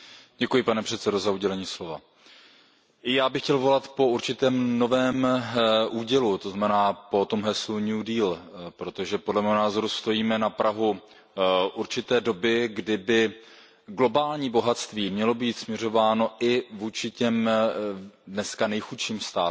Pane předsedající, i já bych chtěl volat po určitém novém údělu, tzn. po tom heslu protože podle mého názoru stojíme na prahu určité doby, kdy by globální bohatství mělo být směřováno i vůči těm dneska nejchudším státům.